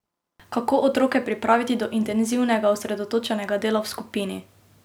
Kako otroke pripraviti do intenzivnega, osredotočenega dela v skupini?